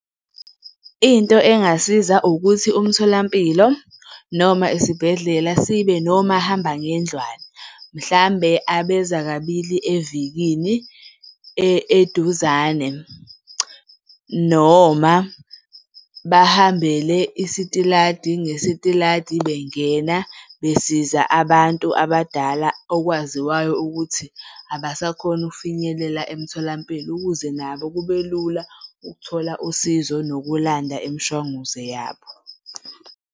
Into engasiza ukuthi umtholampilo noma isibhedlela sibe nomahambangendlwana mhlambe abeza kabili evikini eduzane. Noma bahambele isitiladi ngesitiladi bengena besiza abantu abadala okwaziwayo ukuthi abasakhoni ukufinyelela emtholampilo ukuze nabo kube lula ukuthola usizo nokulanda imishwanguzo yabo.